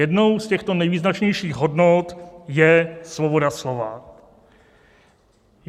Jednou z těchto nejvýznačnějších hodnot je svoboda slova.